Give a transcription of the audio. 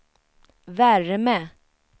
värme